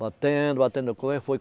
Batendo, batendo.